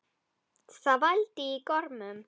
Það vældi í gormum.